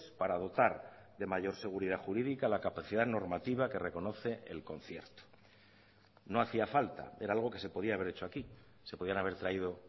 para dotar de mayor seguridad jurídica la capacidad normativa que reconoce el concierto no hacía falta era algo que se podía haber hecho aquí se podían haber traído